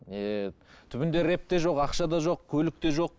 еее түбінде рэп те жоқ ақша да жоқ көлік те жоқ